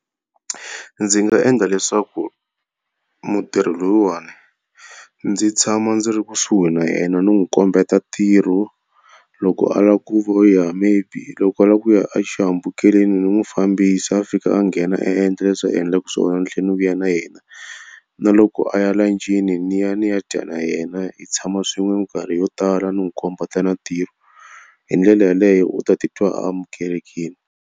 Ndzi nga endla leswaku mutirhi lowuwani, ndzi tshama ndzi ri kusuhi na yena ndzi n'wi kombeta ntirho. Loko a lava ku vuya maybe loko a lava ku ya axihambukelweni ndzi n'wi fambisa a fika a nghena a endla leswi a endlaka swona ni tlhela ni vuya na yena. Na loko a ya la lunch-ini ndzi ya ni ya dya na yena, hi tshama swin'we minkarhi yo tala ni n'wi kombeta na tirho. Hi ndlela yaleyo u ta titwa va amukelekile.